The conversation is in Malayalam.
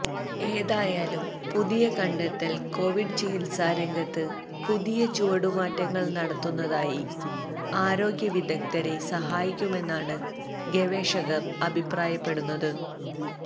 ഏതായാലും പുതിയ കണ്ടെത്തല് കൊവിഡ് ചികിത്സാരംഗത്ത് പുതിയ ചുവടുമാറ്റങ്ങള് നടത്തുന്നതിനായി ആരോഗ്യ വിദഗ്ധരെ സഹായിക്കുമെന്നാണ് ഗവേഷകര് അഭിപ്രായപ്പെടുന്നത്